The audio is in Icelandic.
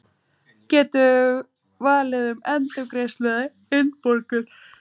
Geta valið um endurgreiðslu eða innborgun